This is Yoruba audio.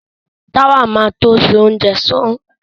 Táwà ma to ṣe oúnjẹ tán